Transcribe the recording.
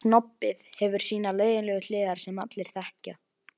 Eru þetta ferðafötin þín, vina mín?